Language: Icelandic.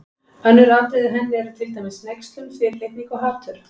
Önnur afbrigði af henni eru til dæmis hneykslun, fyrirlitning og hatur.